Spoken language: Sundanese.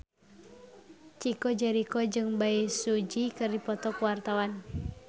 Chico Jericho jeung Bae Su Ji keur dipoto ku wartawan